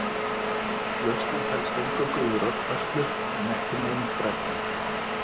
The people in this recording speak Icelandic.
lausnin felst eingöngu í rökfærslu en ekki neinum brellum